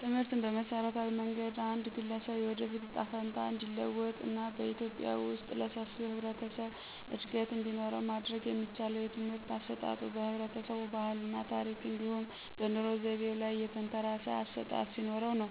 ትምህርትን በመሠረታዊ መንገድ አንድ ግለሰብ የወደፊት እጣ ፈንታ እንዲለወጥ እና በኢትዮጵያ ውስጥ ለሰፊው የህብረተሰብ እድገት እንዲኖረው ማድረግ የሚቻለው የትምህርት አሰጣጡ በህብረተሰቡ ባህል እና ታረክ እንዲሁም በኑሮ ዘይቤው ላይ የተንተራሰ አሠጣጥ ሲኖርነው።